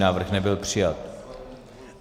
Návrh nebyl přijat.